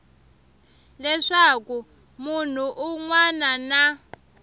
leswaku munhu un wana na